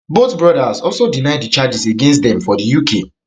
both brothers also deny di charges against dem for di uk